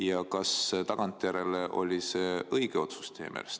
Ja kas teile tagantjärele tundub, et see oli õige otsus?